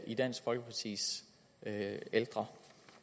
i dansk folkepartis